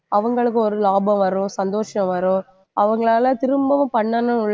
அவங்களுக்கு ஒரு லாபம் வரும், சந்தோஷம் வரும், அவங்களால திரும்பவும் பண்ணணும்